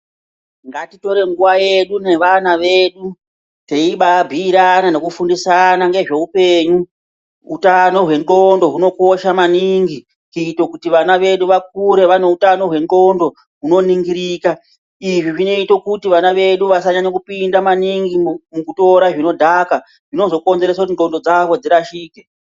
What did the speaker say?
Ngatitore nguwa yedu nevana vedu teimbabhuirana nekufundisana nezveupenyu utano hwendxondo hunokosha maningi kuitira kuti vana vedu vakure vane utano hwendxondo hunoningirika izvi zvinoita kuti vana vedu vasanyanya kupinda maningi mukutora zvinodhaka zvinozokonzeresa kuti ndxondo dzavo dzirashike.